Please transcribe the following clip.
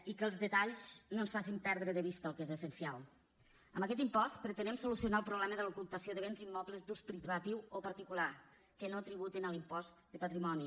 i que els detalls no ens facin perdre de vista el que és essencial amb aquest impost pretenem solucionar el problema de l’ocultació de béns immobles d’ús privatiu o particular que no tributen a l’impost de patrimoni